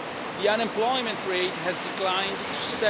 The unemployment rate has declined